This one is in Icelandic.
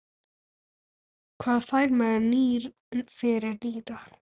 Hvað fær maður fyrir nýra?